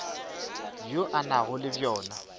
bjo a nago le bjona